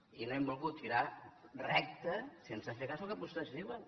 i no hem volgut tirar recte sense fer cas del que vostès diuen